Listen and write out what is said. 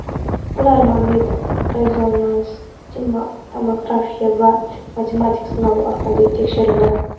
Ular magnit-rezonans tomografiya va matematik sinovlar orqali tekshirildi.